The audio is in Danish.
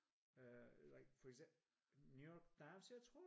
Øh like for eksempel New York Times jeg tror?